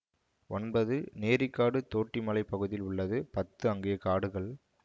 ஒன்பது நேரிக்காடு தோட்டிமலைப் பகுதியில் உள்ளது பத்து அங்கே காடுகள்